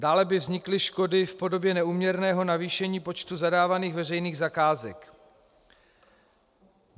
Dále by vznikly škody v podobě neúměrného navýšení počtu zadávaných veřejných zakázek.